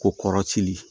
Ko kɔrɔci